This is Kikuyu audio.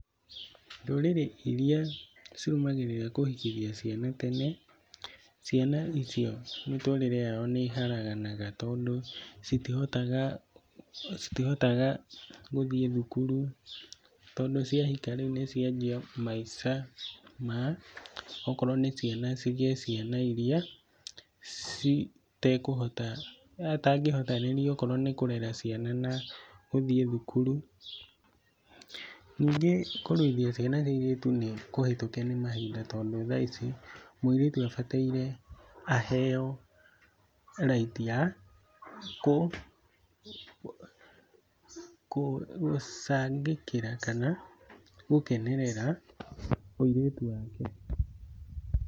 Ndũrĩrĩ iria cirũmagĩrĩra kũhikithia ciana tene, ciana icio mĩtũrĩre yao nĩ ĩharanaga tondũ citihotaga gũthiĩ thukuru tondũ ciahika rĩu nĩcianjia maica ma okorwo nĩ ciana cigĩe ciana iria citekũhota, atangĩhotanĩria okorwo nĩ kũrera ciana na gũthiĩ thukuru, ningĩ kũruithia ciana cia airĩtu nĩ kũhĩtũke nĩ mahinda tondũ thaici mũirĩtu abataire aheo right ya gũcangĩkĩra kana gũkenerera ũirĩtu wake.